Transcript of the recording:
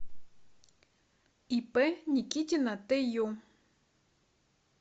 ип никитина тю